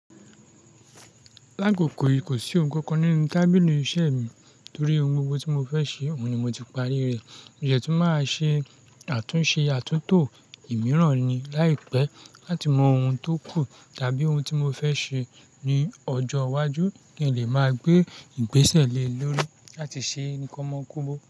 Laggo kò kò sí ohun kan nínú tábìlì iṣẹ́ mi nítorí ohun gbogbo tí mo fẹ́ ṣe, oun ni mo ti parí rẹ̀. Mo yẹ tún maa ṣe àtúnṣe àtúntò imiran ní láìpẹ́ láti mọ ohun tó kù tàbí ohun tí mo fẹ́ ṣe ní ọjọ́ iwájú kin le ma gbé ìgbésẹ̀ lé lórí láti ṣe ni kan mọ kobo.